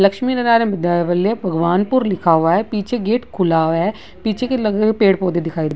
लक्ष्मी नारायण विद्यालय भगवानपुर लिखा हुआ है पीछे गेट खुला हुआ है पीछे के पेड़-पौधे दिखाई --